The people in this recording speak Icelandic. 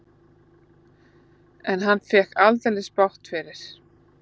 En hann fékk aldeilis bágt fyrir.